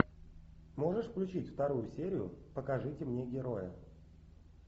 можешь включить вторую серию покажите мне героя